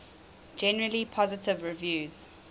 generally positive reviews